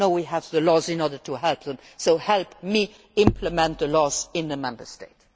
me. No, we have the laws in order to help them, so help me implement the laws in the Member States.